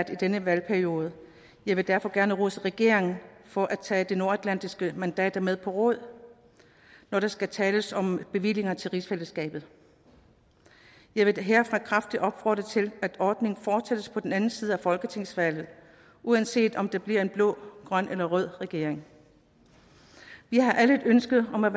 i denne valgperiode jeg vil derfor gerne rose regeringen for at tage de nordatlantiske mandater med på råd når der skal tales om bevillinger til rigsfællesskabet jeg vil herfra kraftigt opfordre til at ordningen fortsættes på den anden side af folketingsvalget uanset om det bliver en blå grøn eller rød regering vi har alle et ønske om at